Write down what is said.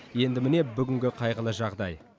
енді міне бүгінгі қайғылы жағдай